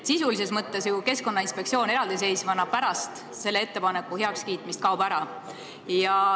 Sisulises mõttes kaob ju Keskkonnainspektsioon pärast selle ettepaneku heakskiitmist eraldiseisvana ära.